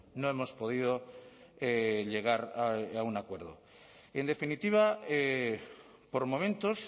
no hemos podido llegar a un acuerdo en definitiva por momentos